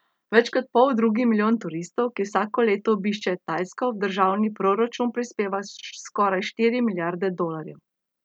Več kot poldrugi milijon turistov, ki vsako leto obiščejo Tajsko, v državni proračun prispeva skoraj štiri milijarde dolarjev.